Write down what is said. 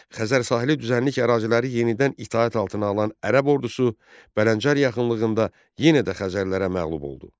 Xəzər sahili düzənlik əraziləri yenidən itaət altına alan ərəb ordusu Bələncər yaxınlığında yenə də Xəzərlərə məğlub oldu.